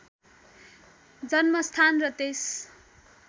जन्मस्थान र त्यस